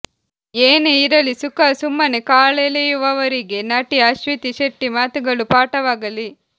ಏನೇ ಇರಲಿ ಸುಖಾ ಸುಮ್ಮನೇ ಕಾಲೆಳೆಯುವವರಿಗೆ ನಟಿ ಅಶ್ವಿತಿ ಶೆಟ್ಟಿ ಮಾತುಗಳು ಪಾಠವಾಗಲಿ